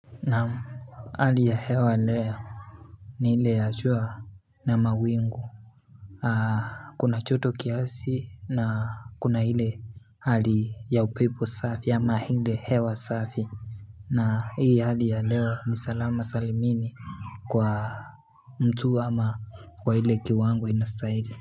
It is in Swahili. Naam hali ya hewa leo ni ile ya jua na mawingu Kuna joto kiasi na kuna ile hali ya upepo safi ama ile hewa safi na hii hali ya leo ni salama salimini Kwa mtu ama kwa ile kiwango inastahili.